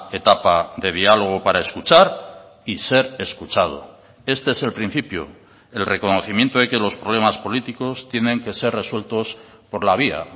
etapa de diálogo para escuchar y ser escuchado este es el principio el reconocimiento de que los problemas políticos tienen que ser resueltos por la vía